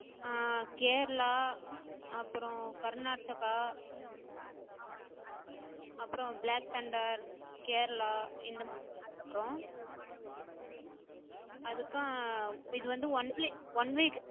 ஹம் கேரளா, அப்பறம் கர்நாட்டகா, அப்பறம் black thunder Kerala, இந்த இருக்கோம். அதுக்கு இது வந்து one play one way